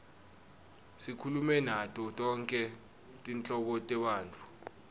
sikhulume nato tonkhe tinhlobo tebantfu